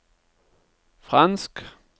fransk